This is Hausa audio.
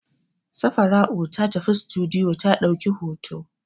Safara'u ta tafi sitiduyo ta ɗauki hoto.